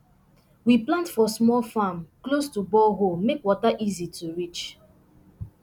we plant for small farm close to borehole make water easy to reach